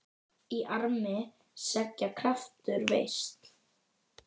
Í armi seggja kraftur felst.